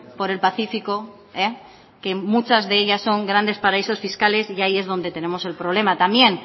por el pacifico que muchas de ellas son grandes paraísos fiscales y ahí es donde tenemos el problema también